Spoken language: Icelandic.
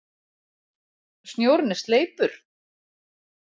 Snjórinn er sleipur!